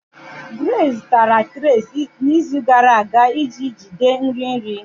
Grace zụtara trays n'izu gara aga iji jide nri nri.